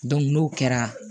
n'o kɛra